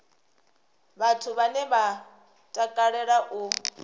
vhathu vhane vha takalea u